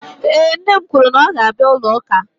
Ee, nne m kwuru na ọ ga-abịa ụlọ ụka